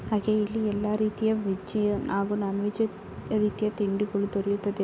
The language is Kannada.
ಹಾಗೆ ಇಲ್ಲಿ ಎಲ್ಲ ರೀತಿಯ ವೇಜ್ ನಾನ್ ವೆಜ್ ರೀತಿಯ ತಿಂಡಿಗಳು ದೊರೆಯುತ್ತದೆ.